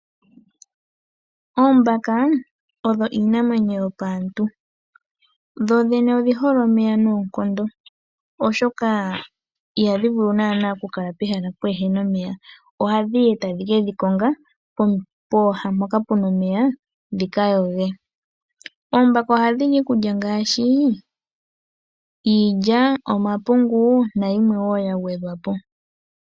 Oombaka odho iinamwenyo yopaantu. Dho dhene odhi hole omeya noonkondo, oshoka ihadhi vulu naanaa okukala pehala pwaa na omeya, ohadhi yi tadhi ke ga konga pooha mpoka pu na omeya dhi ka yoge. Oombaka ohadhi li iikulya ngaashi iilya, omapungu nayilwe wo ya gwedhwa po.